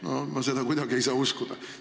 Ma ei saa seda kuidagi uskuda.